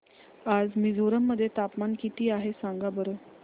आज मिझोरम मध्ये तापमान किती आहे सांगा बरं